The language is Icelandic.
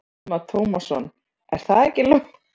Telma Tómasson: Er það ekki Lóa?